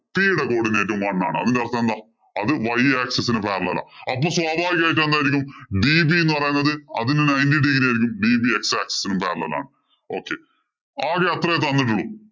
P യുടെ coodinate ഉം one ആണ്. അപ്പൊ അതിന്‍റെ അര്‍ത്ഥം എന്താ. അത് y axis ഇന് parallel ആ. അപ്പൊ സ്വഭാവികമായിട്ടു എന്തായിരിക്കും? db എന്ന് പറയുന്നത് അതിന്‍റെ ninety degree കഴിഞ്ഞ db x axis ഇന് parallel ആണ്. Okay ആകെ അത്രേ തന്നിട്ടുള്ളൂ.